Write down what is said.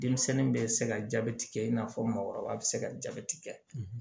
Denmisɛnnin bɛ se ka jabɛti kɛ i n'a fɔ mɔgɔkɔrɔba bɛ se ka jabɛti kɛ